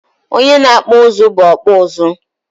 Onye na-akpọ ụzụ bụ ọkpụụzụ.